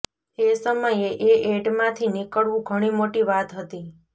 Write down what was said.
એ સમયે એ એડમાંથી નીકળવું ઘણી મોટી વાત હતી